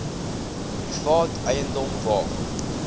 private eiendom waar